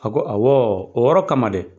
A ko awɔ, o yɔrɔ kama dɛ.